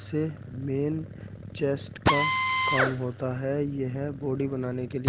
इसे main chest का काम होता है। यह बॉडी बनाने के लिए --